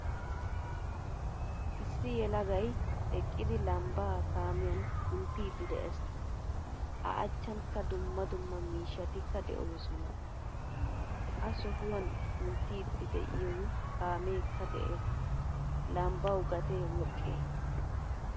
Issi yelagay eqqidi lambba kaamiyan kunttidi de'ees. A achchankka dumma dumma miishshatika deosona. Ha sohuwan kunttidi deiyo kaamekka de'ees. Lambbawu gatee woqqe?